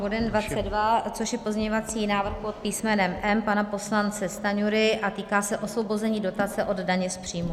Bodem 22, což je pozměňovací návrh pod písmenem M pana poslance Stanjury a týká se osvobození dotace od daně z příjmu.